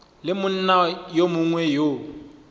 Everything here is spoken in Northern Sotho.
le monna yo mongwe yo